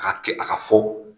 K'a kɛ a ka fɔ.